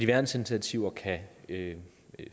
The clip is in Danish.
værnsinitiativer kan kan